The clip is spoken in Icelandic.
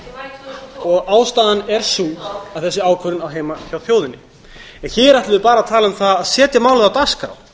um málið ástæðan er sú að þessi ákvörðun á heima hjá þjóðinni en hér ætlum við bara að tala um það að setja málið á dagskrá